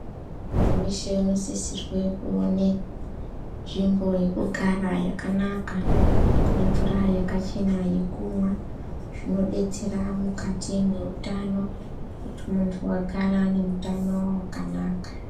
Muntu weshe unosisirwe kuone nzvimbo yekugara yakanaka nemvura yakachena yekumwa zvinodetsera mukati mweutani kuti muntu agare ane utano hwakanaka.